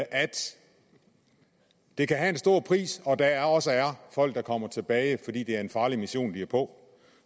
det kan have en stor pris og at der også er folk der kommer tilbage fordi det er en farlig mission de er på